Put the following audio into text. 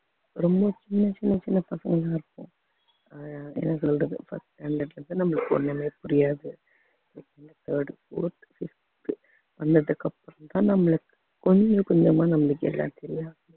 ரொம்ப சின்ன சின்ன சின்ன பசங்களா இருப்போம் அஹ் என்ன சொல்றது first standard வந்து நம்மளுக்கு ஒண்ணுமே புரியாது third fourth fifth வந்ததுக்கு அப்புறம்தான் நம்மளுக்கு கொஞ்சம் கொஞ்சமா நம்மளுக்கு எல்லாம் தெரியும்